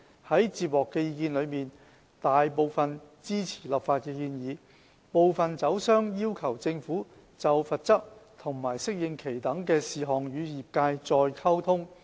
在接獲的意見書中，大部分支持立法的建議，部分酒商要求政府就罰則和適應期等事項與業界再溝通。